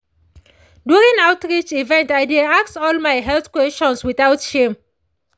during outreach event i dey ask all my health questions without shame.